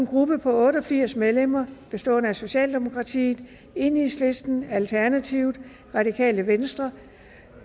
gruppe på otte og firs medlemmer socialdemokratiet enhedslisten alternativet radikale venstre